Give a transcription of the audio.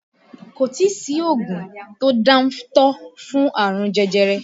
Kò tí sí oògùn tó dáńtọ́ fún àrùn jẹjẹrẹ